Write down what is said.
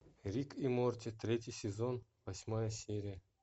рик и морти третий сезон восьмая серия